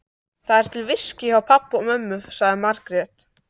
Það er til viskí hjá pabba og mömmu, sagði Margrét.